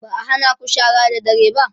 ba'a hanaku shara da dare ba?